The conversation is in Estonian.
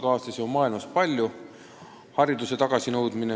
Ma arvan, et mul on maailmas palju samasuguse saatuse kaaslasi.